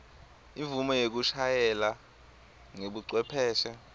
imvumo yekushayela ngebucwepheshe